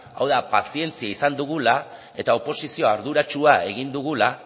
hau da pazientzia izan dugula eta oposizio arduratsua egin dugula